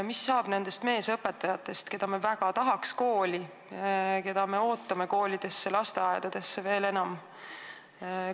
Mis saab nendest meesõpetajatest, keda me kooli väga tahaks saada, keda me koolidesse ootame ja lasteaedadesse veel enam?